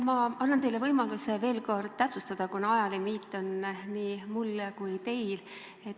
Ma annan teile võimaluse veel kord täpsustada, kuna ajalimiit on nii mul kui teil.